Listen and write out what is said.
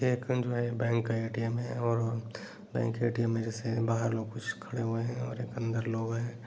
एक बैंक का ए.टी.एम. है और बैंक के ऐ.टी.एम. में जैसे बाहर लोग कुछ खड़े हुए हैं और अंदर लोग हैं।